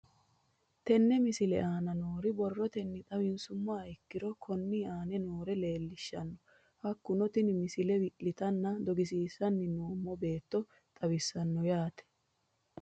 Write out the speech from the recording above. Tenne misile aana noore borrotenni xawisummoha ikirro kunni aane noore leelishano. Hakunno tinni misile wi'litanna dogisiissanni noomo beeto xawisaano yaate.